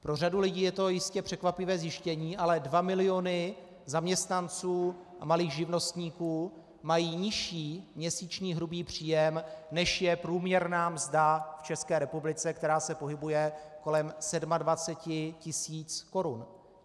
Pro řadu lidí je to jistě překvapivé zjištění, ale 2 miliony zaměstnanců a malých živnostníků mají nižší měsíční hrubý příjem, než je průměrná mzda v České republice, která se pohybuje kolem 27 tisíc korun.